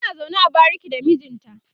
suna zaune a bariki da mijinta